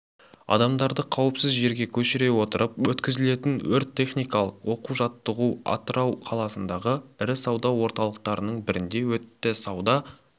адамдарды қауіпсіз жерге көшіре отырып өткізілген өрт-тактикалық оқу-жаттығу атырау қаласындағы ірі сауда орталықтарының бірінде өтті сауда